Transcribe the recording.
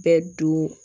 Bɛɛ don